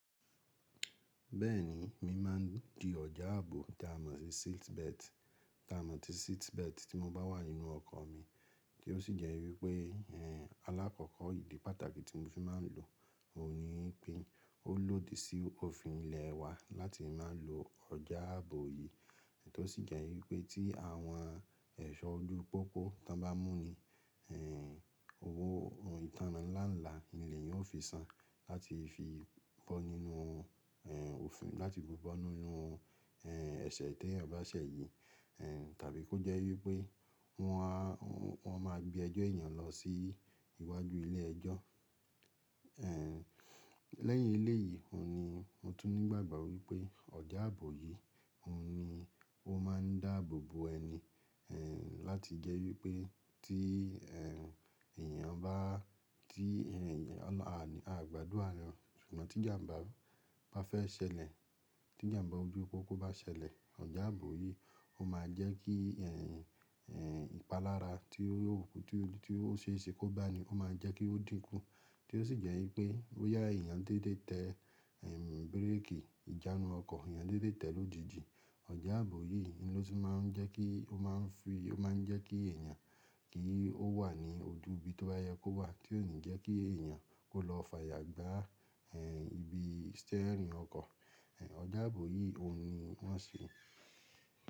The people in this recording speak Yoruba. Bẹ́ẹ̀ni, mi má a n di ọjà ààbò tá mọ̀ sí seatbelt, tá mọ̀ sí seatbelt tí mo bá wà nínú ọkọ̀ mi, tí ó sì jẹ́ wípé, ẹ́, alákọ̀ọ́kọ́ ìdí pàtàkì tí mo fi má a n lo òun ni pé ó lòdì sí òfin ilẹ̀ wa láti má a n lo ọjà ààbò yìí, tí ó sì jẹ́ wípé tí àwọn ẹ̀ṣọ́ ojú pópó tán bá mú ni, ẹ́, owó ìtánná nlá nlá ni èèyàn ó fi san láti fi bọ́ nínú, ẹ́, òfin láti fi bọ́ nínú, ẹ́, ẹ̀ṣẹ̀ t'eeyan bá ṣẹ̀ yìí, ẹ́, tàbí kó jẹ́ wípé wọn a, wọn má a gbé ẹjọ́ èèyàn lọ sí iwájú ilé ẹjọ́. Ẹ́, lẹ́yìn eléyìí, òun ni mo tún ní ìgbàgbọ́ wípé ọjà ààbò yìí, òun ni ó má a n dáàbò bo ẹni, ẹ́, láti jẹ́ wípé tí, ẹ́, èèyàn bá, tí, ẹ́, a ò gbádùn ààrẹ, ṣùgbọ́n tí ìjàmbá bá fẹ́ ṣẹlẹ̀, tí ìjàmbá ojú pópó bá ṣẹlẹ̀, ọjà ààbò yìí ó má a jẹ́ kí, ẹ́, ẹ́, ìpalára tí ó ṣe é ṣe kó bá ni, ó má a jẹ́ kí ó dínkù, tí ó sì jẹ́ wípé ó yà èèyàn dédé tẹ, ẹ́, bírèkì ìjánu ọkọ̀, èèyàn dédé tẹ lójijì. Ọjà ààbò yìí ni ló ti má a n jẹ́ kí ó má a n fi, ó má a n jẹ́ kí èèyàn kí ó wà ní ojú ibi tí ó ba yẹ kó wà tí ó lè jẹ́ kí èèyàn kó lọ fààyà gbá, ẹ́, ibi steering ọkọ̀. Ẹ̀, ọjà ààbò yìí òun ni wọ́n sọ.